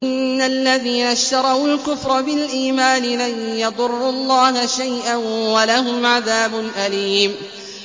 إِنَّ الَّذِينَ اشْتَرَوُا الْكُفْرَ بِالْإِيمَانِ لَن يَضُرُّوا اللَّهَ شَيْئًا وَلَهُمْ عَذَابٌ أَلِيمٌ